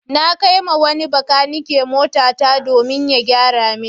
Na kai wa wani makanike motata domin ya gyara min.